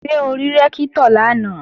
Ṣé o rí Rẹ́ktọ̀ lánàá?